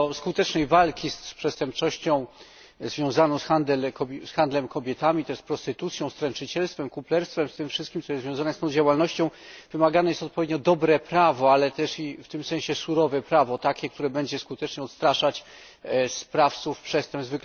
Do skutecznej walki z przestępczością związaną z handlem kobietami, także z prostytucją, stręczycielstwem, kuplerstwem, z tym wszystkim, co jest związane z tą działalnością, wymagane jest odpowiednio dobre prawo, ale też w tym sensie surowe prawo, takie które będzie skutecznie odstraszać sprawców przestępstw.